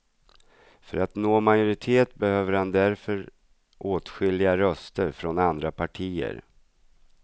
För att nå majoritet behöver han därför åtskilliga röster från andra partier.